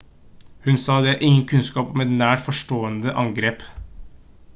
hun sa: «det er ingen kunnskap om et nært forestående angrep